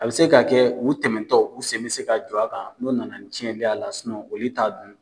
A bɛ se k' kɛ u tɛmɛtɔ u sɛ bɛ se ka jɔ a kan n'o nana tiɲɛli ye a la olu t'a dun.